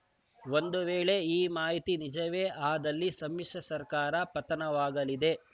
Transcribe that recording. ಒಂದು ವೇಳೆ ಈ ಮಾಹಿತಿ ನಿಜವೇ ಆದಲ್ಲಿ ಸಮ್ಮಿಶ್ರ ಸರ್ಕಾರ ಪತನವಾಗಲಿದೆ